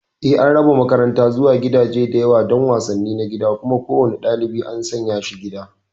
Eh, an raba makaranta zuwa gidaje da yawa don wasanni na gida, kuma kowane ɗalibi an sanya shi gida.